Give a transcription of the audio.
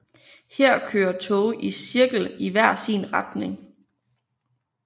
Her kører toge i cirkel i hver sin retning